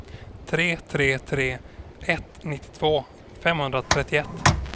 tre tre tre ett nittiotvå femhundratrettioett